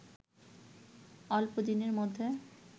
অল্প দিনের মধ্যে